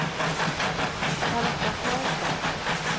Charlotta Klasson